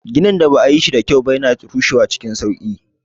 Ginin da ba a yi shi da kyau ba yana rushewa cikin sauƙi.